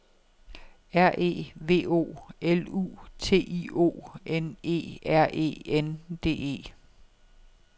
R E V O L U T I O N E R E N D E